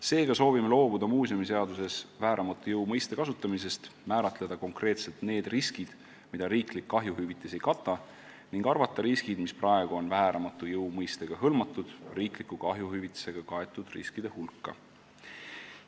Seega soovime muuseumiseaduses loobuda vääramatu jõu mõiste kasutamisest, määratleda konkreetselt need riskid, mida riiklik kahjuhüvitis ei kata, ning arvata riskid, mis praegu on vääramatu jõu mõistega hõlmatud, riikliku kahjuhüvitisega kaetud riskide hulka.